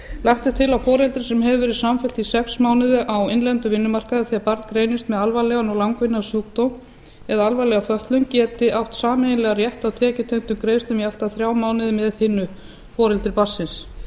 lagt er til að foreldri sem hefur verið samfellt í sex mánuði á innlendum vinnumarkaði þegar barn greinist með alvarlegan og langvinnan sjúkdóm eða alvarlega fötlun geti átt sameiginlegan rétt á tekjutengdum greiðslum í allt að þrjá mánuði með hinu foreldri barnsins